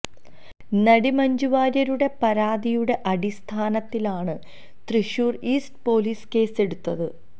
നടി മഞ്ജു വാര്യരുടെ പരാതിയുടെ അടിസ്ഥാനത്തിലാണ് തൃശ്ശൂര് ഈസ്റ്റ് പോലീസ് കേസ് എടുത്തത്